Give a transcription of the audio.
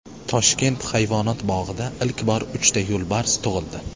Toshkent hayvonot bog‘ida ilk bor uchta yo‘lbars tug‘ildi.